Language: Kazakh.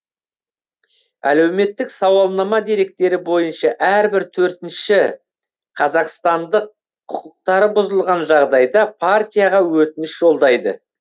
әлеуметтік сауалнама деректері бойынша әрбір төртінші қазақстандық құқықтары бұзылған жағдайда партияға өтініш жолдайды